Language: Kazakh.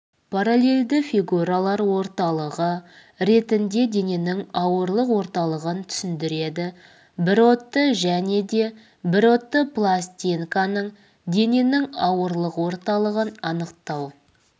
параллельді фигуралар орталығы ретінде дененің ауырлық орталығын түсіндіреді бірродты және де бірродты пластинканың дененің ауырлық орталығын анықтау